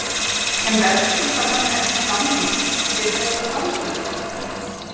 En verðskuldar hann ekki samning fyrir þessa frammistöðu?